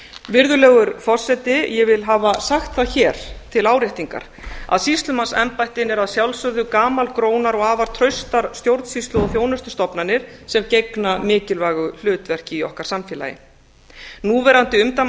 virðulegur forseti ég vil hafa sagt það hér til áréttingar að sýslumannsembættin eru að sjálfsögðu gamalgrónar og afar traustar stjórnsýslu og þjónustustofnanir sem gegna mikilvægu hlutverki í okkar samfélagi núverandi